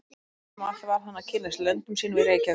En umfram allt varð hann að kynnast löndum sínum í Reykjavík.